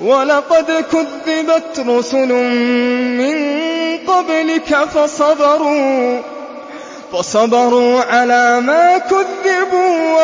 وَلَقَدْ كُذِّبَتْ رُسُلٌ مِّن قَبْلِكَ فَصَبَرُوا عَلَىٰ مَا كُذِّبُوا